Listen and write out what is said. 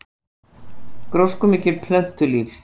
Gróskumikið plöntulíf